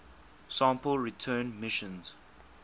sample return missions